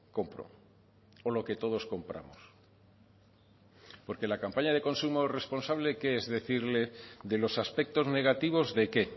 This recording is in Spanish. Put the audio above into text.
compro o lo que todos compramos porque la campaña de consumo responsable qué es decirle de los aspectos negativos de qué